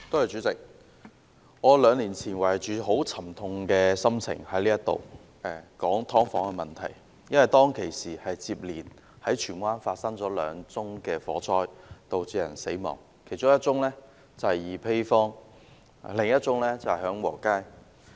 主席，兩年前，我懷着沉痛的心情，在這裏談論"劏房"問題，因為當時在荃灣接連發生了兩宗火災，導致有人死亡，其中一宗在二陂坊，另一宗在享和街。